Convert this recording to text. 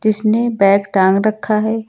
इसने बैग टांग रखा है।